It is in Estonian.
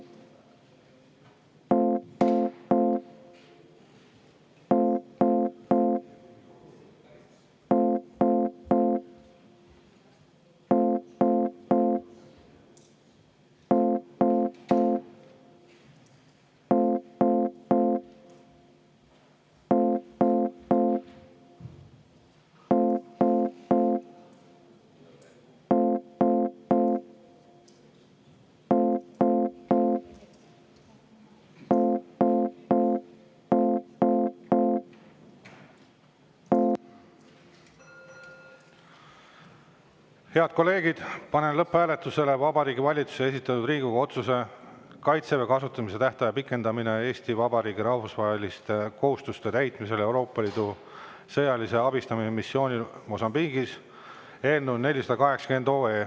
Head kolleegid, panen lõpphääletusele Vabariigi Valitsuse esitatud Riigikogu otsuse "Kaitseväe kasutamise tähtaja pikendamine Eesti Vabariigi rahvusvaheliste kohustuste täitmisel Euroopa Liidu sõjalise abistamise missioonil Mosambiigis" eelnõu 480.